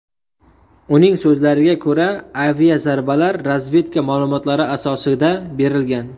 Uning so‘zlariga ko‘ra, aviazarbalar razvedka ma’lumotlari asosida berilgan.